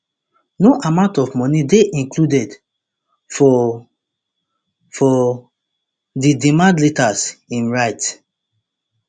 no amount of money dey included for for di demand letters im write